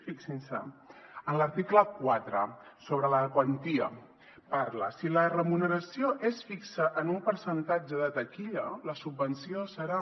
fixin se en l’article quatre sobre la quantia parla si la remuneració és fixa en un percentatge de taquilla la subvenció serà